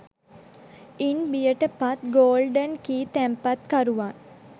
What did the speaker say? ඉන් බියට පත් Golden Key තැන්පතුකරුවන්